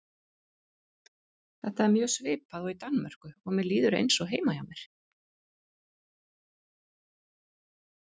Þetta er mjög svipað og í Danmörku og mér líður eins og heima hjá mér.